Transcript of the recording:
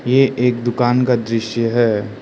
ये एक दुकान का दृश्य है।